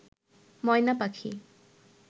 ময়না পাখি